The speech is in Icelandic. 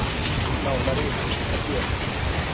Nánari upplýsingar hér